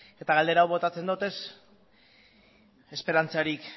eta galdera hau botatzen dut ez esperantzarik